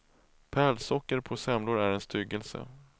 Pärlsocker på semlor är en styggelse.